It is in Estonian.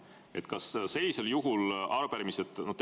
Mis sellisel juhul arupärimistest?